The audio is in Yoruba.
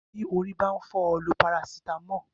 Bí orí bá n fó̩ o̩, lo paracetamol